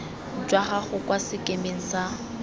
jwa gago kwa sekemeng sa